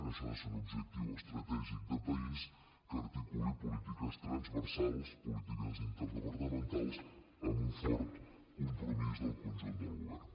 això ha de ser un objectiu estratègic de país que articuli polítiques transversals polítiques interdepartamentals amb un fort compromís del conjunt del govern